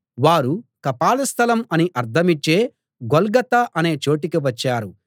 వారు కపాల స్థలం అని అర్థమిచ్చే గొల్గొతా అనే చోటికి వచ్చారు